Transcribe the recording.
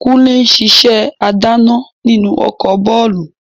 Kúnlé n sisẹ́ adáná nínú ọkọ̀ bàálù